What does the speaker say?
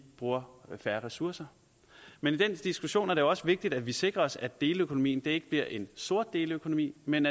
bruger færre ressourcer men i den diskussion er det også vigtigt at vi sikrer os at deleøkonomien ikke bliver en sort deleøkonomi men